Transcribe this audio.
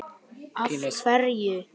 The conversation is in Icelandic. Jú, ég er búinn að segja þér það.